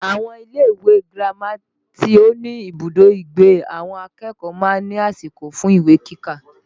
Àwọn ilé ìwé girama tí ó ní ibùdó ìgbé àwọn akẹ́kọ̀ọ́ máa ń ní àsìkò fún ìwé kíkà